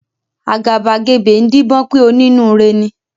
Àgàbàgebè ń díbọ́n pé onínúure ni.